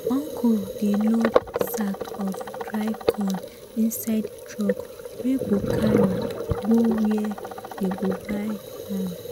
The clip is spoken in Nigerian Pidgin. uncle dey load sack of dry corn inside truck wey go carry go where dey go buy am.